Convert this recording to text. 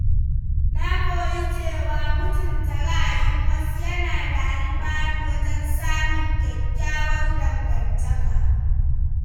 Na koyi cewa mutunta ra’ayin wasu yana da alfanu wajen samun kyakkyawar dangantaka.